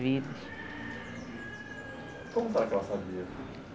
vidas. Como será que ela sabia?